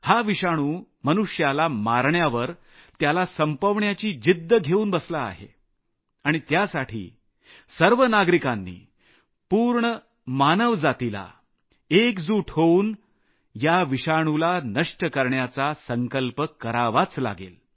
हा विषाणु मनुष्याला मारण्याची त्याला संपवण्याची जिद्द घेऊन बसला आहे आणि त्यासाठी सर्व नागरिकांनी पूर्ण मानवजातीला या विषाणुला नष्ट करण्यासाठी एकजूट होऊन संकल्प करावाच लागेल